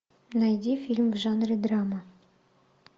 найди фильм в жанре драма